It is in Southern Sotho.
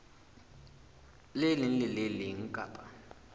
leng le le leng kapa